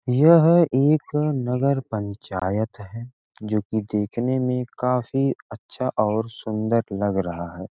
यह एक नगर पंचायत है जोकि देखने में काफी अच्छा और सुंदर लग रहा है ।